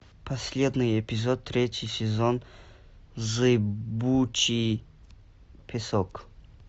последний эпизод третий сезон зыбучий песок